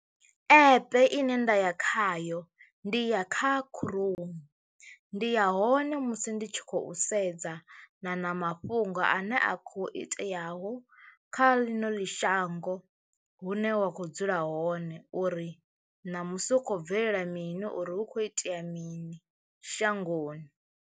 Epe ine nda ya khayo ndi ya kha Crome, ndi ya hone musi ndi tshi khou sedza na na mafhungo ane a kho iteaho ho kha ḽino ḽi shango hune wa kho dzula hone uri namusi hu khou bvelela mini uri hu kho itea mini shangoni.